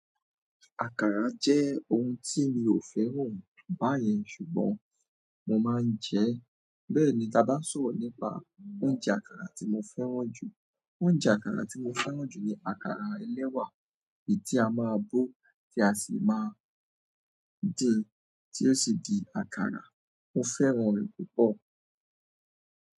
Àkàrà jẹ́ oun tí mi ò fẹ́ràn báyẹn ṣùgbọ́n mo máa ń jẹ ẹ́. Bẹ́ẹ̀ ni tába n sọ̀rọ̀ nípa oúnjẹ àkàrà tí mo fẹ́ràn jù. Oúnjẹ àkàrà tí mo fẹ́ràn jù ni àkàrà ẹlẹ́wà, èyí tí a máa bó, tí a sì máa din, tí ó sì di àkàrà. Mo fẹ́ràn rẹ̀ púpọ̀.